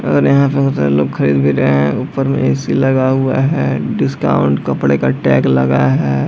और यहाँ बहुत सारा लोग खरीद भी रहे है ऊपर में ए.सी. लगा हुआ है डिस्काउंट कपड़े का टैग लगा है।